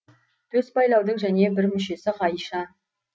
төс байлаудың және бір мүшесі ғайша